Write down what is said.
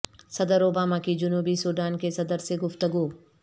صدر اوباما کی جنوبی سوڈان کے صدر سے گفتگو